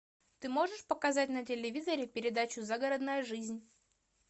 ты можешь показать на телевизоре передачу загородная жизнь